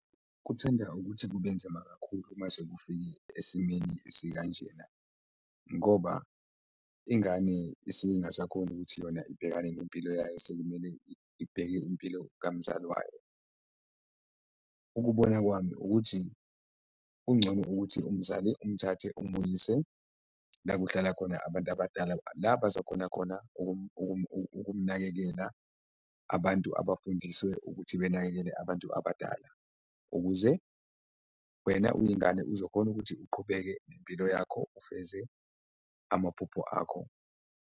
Kuthanda ukuthi kubenzima kakhulu mase kufike esimeni esikanjena ngoba ingane isuke ingasakhoni ukuthi yona ibhekane nempilo yayo, sekumele ibheke impilo kamzali wayo. Ukubona kwami ukuthi kungcono ukuthi umzali umthathe umuyise la kuhlala khona abantu abadala, la bazokhona khona ukumnakekela abantu abafundiswe ukuthi benakekele abantu abadala ukuze wena uyingane uzokhona ukuthi uqhubeke nempilo yakho, ufeze amaphupho akho.